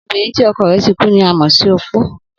Obìnrin tí o̩ko̩ rè̩ ti kú ni a mò̩ sí opó